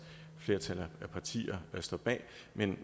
flertal af partier står bag men